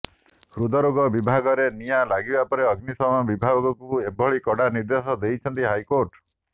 ହୃଦରୋଗ ବିଭାଗରେ ନିଆଁ ଲାଗିବା ପରେ ଅଗ୍ନିଶମ ବିଭାଗକୁ ଏଭଳି କଡା ନିର୍ଦେଶ ଦେଇଛନ୍ତି ହାଇକୋର୍ଟ